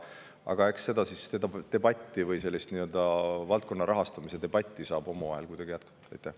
Aga eks selle valdkonna rahastamise üle saame omavahel debatti jätkata.